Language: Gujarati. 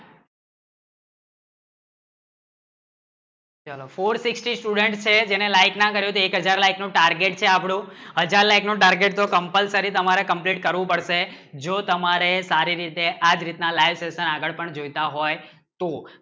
four sixty student છે જેને like ના કરો ચો એક હાજર નો target છે આપનો હાજર like નું target compulsory નું કરવું પડશે જો તમારે સારે રીત આજ રીત આગળ પણ જોયતા હોય ના like